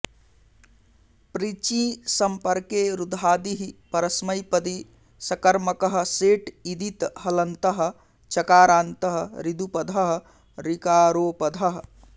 पृचीँ सम्पर्के रुधादिः परस्मैपदी सकर्मकः सेट् ईदित् हलन्तः चकारान्तः ऋदुपधः ऋकारोपधः